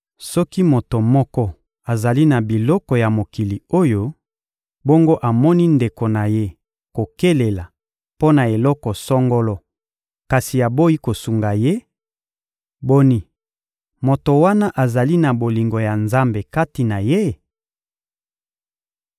Soki moto moko azali na biloko ya mokili oyo, bongo amoni ndeko na ye kokelela mpo na eloko songolo kasi aboyi kosunga ye; boni, moto wana azali na bolingo ya Nzambe kati na ye?